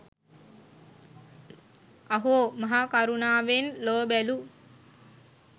අහෝ! මහා කරුණාවෙන් ලොව බැලූ